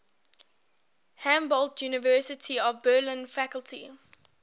humboldt university of berlin faculty